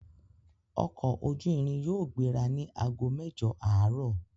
Ọkọ ojú irin yóò gbéra ni àgó mẹ́jọ̀ àárọ̀